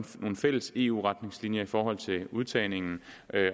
nogle fælles eu retningslinjer i forhold til udtagningen